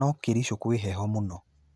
No Kericho kwĩ heho mũno